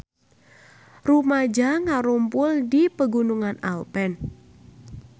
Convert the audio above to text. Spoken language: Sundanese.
Rumaja ngarumpul di Pegunungan Alpen